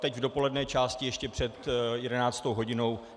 Teď v dopolední části ještě před 11. hodinou.